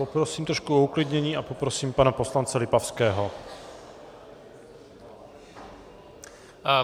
Poprosím trošku o uklidnění a poprosím pana poslance Lipavského.